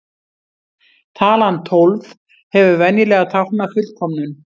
Talan tólf hefur venjulega táknað fullkomnum.